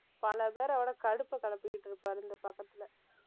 பல பேரோட கடுப்பை கிளப்பிக்கிட்டு இருப்பாரு இந்தப்பக்கத்திலே